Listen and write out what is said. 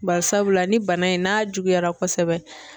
Bari sabula ni bana in n'a juguyara kosɛbɛ.